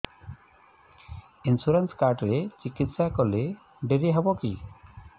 insurance card ରେ ଚିକିତ୍ସା କଲେ ଡେରି ହବକି